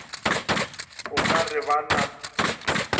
o ka re ba na